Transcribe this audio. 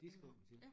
De skriver dem selv